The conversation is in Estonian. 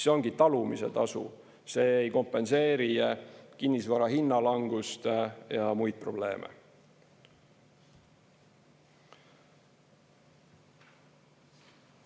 See ongi talumise tasu, see ei kompenseeri kinnisvara hinna langust ja muid probleeme.